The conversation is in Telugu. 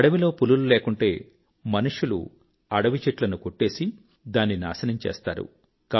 అడవిలో పులులు లేకుంటే మనుష్యులు అడవి చెట్లను కొట్టేసి దాన్ని నాశనం చేస్తారు